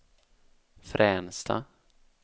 Fränsta